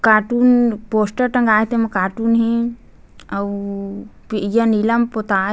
cartoon poster टँगाये हे तेमा कार्टून हे अउ नीला म पोताये --